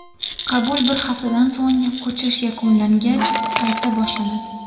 Qabul bir haftadan so‘ng, ko‘chish yakunlangach, qayta boshlanadi.